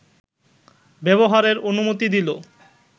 ব্যবহারের অনুমতি দিল